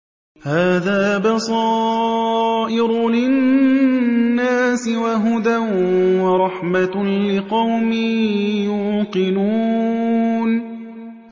هَٰذَا بَصَائِرُ لِلنَّاسِ وَهُدًى وَرَحْمَةٌ لِّقَوْمٍ يُوقِنُونَ